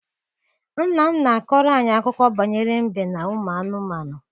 Nna m na-akọrọ anyị akụkọ banyere mbe na ụmụ anụmanụ.